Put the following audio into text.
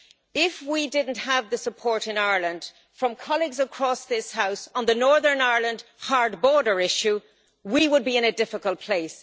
Well, if we did not have the support in Ireland from colleagues across this House on the Northern Ireland hard border issue, we would be in a difficult place.